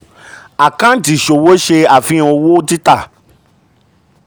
àkàǹtì ìṣòwò ṣe àfihàn owó títà.